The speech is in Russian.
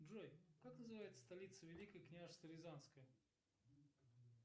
джой как называется столица великое княжество рязанское